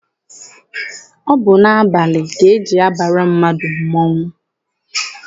Ọ bụ n'abalị ka eji abara mmadụ mmọnwụ.